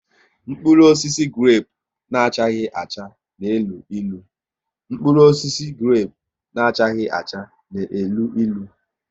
Mkpụrụ osisi grepu na achaghi acha n'elu ịlụ